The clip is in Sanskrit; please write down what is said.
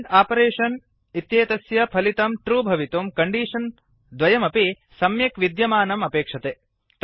आण्ड् आपरेषन् इत्येतस्य फलितं ट्रू भवितुं कण्डीषन् द्वयमपि सम्यक् विद्यमानम् अपेक्षते